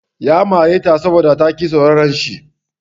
Ya mare ta saboda ta ƙi sauraran shi.